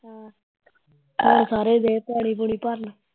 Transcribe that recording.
ਹੁਣ ਸਾਰੇ ਗਏ ਪਾਣੀ ਪੁਣੀ ਭਰਨ